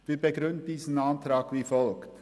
Wir begründen diesen Antrag wie folgt: